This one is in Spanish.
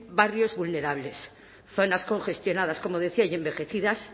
barrios vulnerables zonas congestionadas como decía y envejecidas